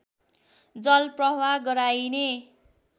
जल प्रवाह गराइने